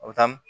A bɛ taa